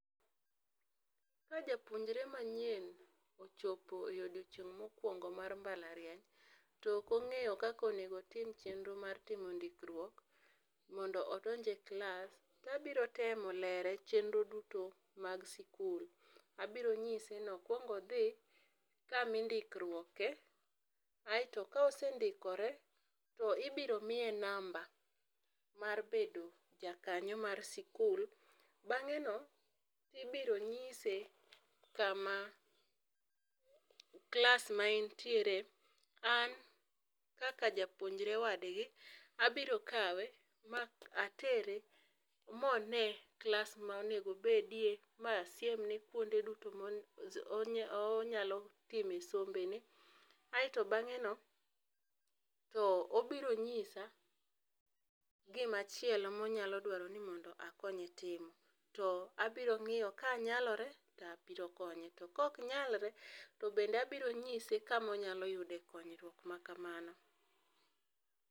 Ka japuonjre manyien ochopo e odiochieng mokuongomar embalariany, to ok ongeyo kaka onego otim chenro mar ndikiruok mondo odonje klas to abiro temo lere chenro duto mag skul abiro nyise ni okuong odhi kama indikruoge ae to kosendikore to ibiro miye namba mar bedo jakanyo mar skul bang'e no ibiro nyise kama klas mare en tiere an kaka japuonjre wadgi abiro kawe ma atere mo one klas ma nengo obedie ma asiem ne kuonde duto ma onyalo timo sombe ne aito bang'e no to obiro nyise kumachielo ma onyalo dwaro ni mondo akonye timo to abiro ng'iyo kanyalore to abiro konye timo to ka ok nyalre to bende abiro nyise kama obiro yudo konyruok makamano.